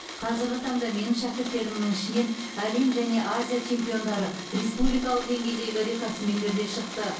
қазіргі таңда менің шәкірттерімнің ішінен әлем және азия чемпиондары республикалық деңгейдегі рекордсмендер де шықты